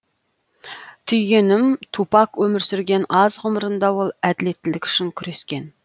түйгенім тупак өмір сүрген аз ғұмырында ол әділеттілік үшін күрескен